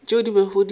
tšeo di bego di sa